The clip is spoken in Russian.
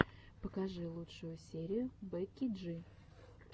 покажи лучшую серию бекки джи